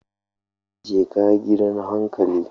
Jeka gidan hankali.